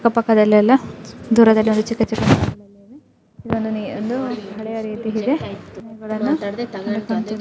ಅಕ್ಕಪಕ್ಕದಲ್ಲಿಯೆಲ್ಲಾ ದೂರದಲ್ಲಿ ಒಂದು ಚಿಕ್ಕ ಚಿಕ್ಕ ಇದೊಂದು ಹಳೆಯ ರೀತಿಯಿದೆ ]